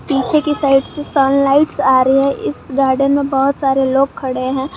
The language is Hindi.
पीछे की साइड से सन लाइट्स आ रही है इस गार्डन में बहुत सारे लोग खड़े हैं।